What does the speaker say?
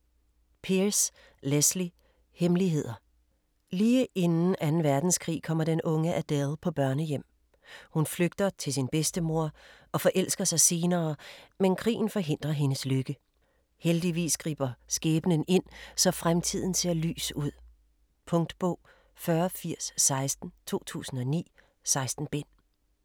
Pearse, Lesley: Hemmeligheder Lige inden den 2. verdenskrig kommer den unge Adele på børnehjem. Hun flygter til sin bedstemor, og forelsker sig senere, men krigen forhindrer hendes lykke. Heldigvis griber skæbnen ind, så fremtiden ser lys ud... Punktbog 408016 2009. 16 bind.